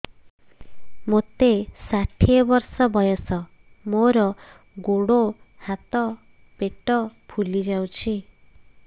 ମୋତେ ଷାଠିଏ ବର୍ଷ ବୟସ ମୋର ଗୋଡୋ ହାତ ପେଟ ଫୁଲି ଯାଉଛି